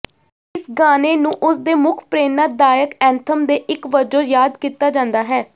ਇਸ ਗਾਣੇ ਨੂੰ ਉਸਦੇ ਮੁੱਖ ਪ੍ਰੇਰਣਾਦਾਇਕ ਐਂਥਮ ਦੇ ਇੱਕ ਵਜੋਂ ਯਾਦ ਕੀਤਾ ਜਾਂਦਾ ਹੈ